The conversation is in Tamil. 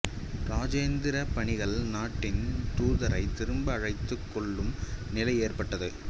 இராஜதந்திர பணிகள் நாட்டின் தூதரை திரும்ப அழைத்துக் கொள்ளும் நிலை ஏற்பட்டது